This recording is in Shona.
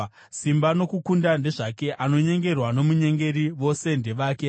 Simba nokukunda ndezvake; anonyengerwa nomunyengeri vose ndevake.